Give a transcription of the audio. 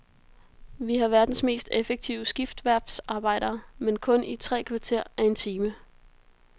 Vi har verdens mest effektive skibsværftsarbejdere, men kun i tre kvarter af en time.